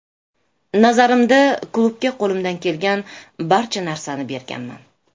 Nazarimda, klubga qo‘limdan kelgan barcha narsani berganman”.